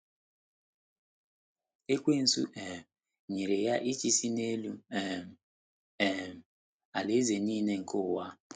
Ekwensu um nyere ya ịchịisi n’elu um “ um alaeze nile nke ụwa. ”